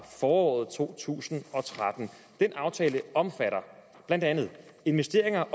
foråret to tusind og tretten den aftale omfatter blandt andet investeringer